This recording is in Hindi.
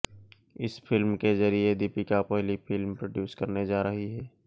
इस फिल्म के जरिये दीपिका पहली फिल्म प्रोड्यूस करने जा रही हैं